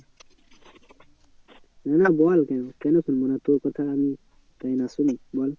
না না বল কেন, কেন শুনবো না তোর কথা আমি তাই না শুনি বল